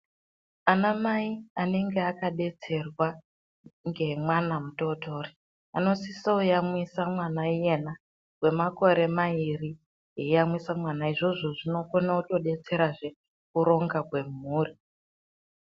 Anamai anenge akabetserwa ngemwana mutotori, anosise kuyamwisa mwana iyena kwemakore mairi eiyamwisa mwana izvozvo zvinokona kutodetserazve kuronga kwemhuri.